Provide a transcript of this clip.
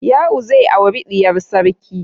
Ya'u zai auri diyar sarki.